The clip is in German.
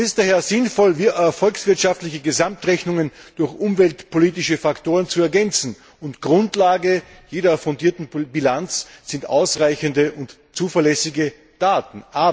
Es ist daher sinnvoll, volkswirtschaftliche Gesamtrechnungen durch umweltpolitische Faktoren zu ergänzen, und Grundlage jeder fundierten Bilanz sind ausreichende und zuverlässige Daten.